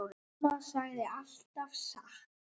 Og mamma sagði alltaf satt.